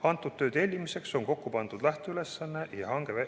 Selle töö tellimiseks on kokku pandud lähteülesanne ja hange.